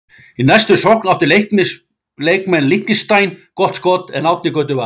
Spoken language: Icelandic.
Í næstu sókn áttu leikmenn Liechtenstein gott skoti en Árni Gautur varði.